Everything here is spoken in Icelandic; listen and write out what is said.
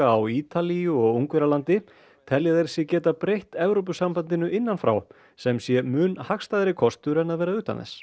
á Ítalíu og Ungverjalandi telja þeir sig geta breytt Evrópusambandinu innan frá sem sé mun hagstæðari kostur en að vera utan þess